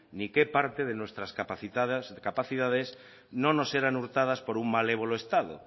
ni qué parte de nuestras capacidades no nos eran hurtadas por un malévolo estado